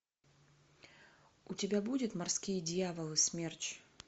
у тебя будет морские дьяволы смерч